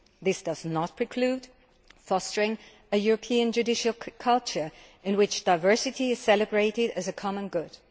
This does not preclude fostering a European judicial culture in which diversity is celebrated as a common good.